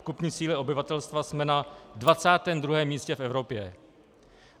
V kupní síle obyvatelstva jsme na 22. místě v Evropě.